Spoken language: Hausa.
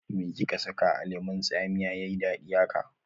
Me kika saka a lemun tsamiya yayi dadi haka?